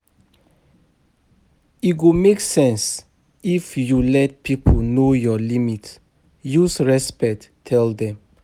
E go make sense if you let pipo know your limit, use respect tell dem